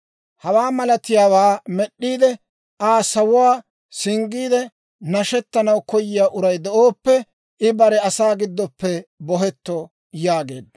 Hawaa malatiyaawaa med'd'iide, Aa sawuwaa singgiide nashettanaw koyiyaa uray de'ooppe, I bare asaa giddoppe bohetto» yaageedda.